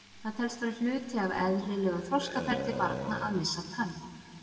Það telst vera hluti af eðlilegu þroskaferli barna að missa tönn.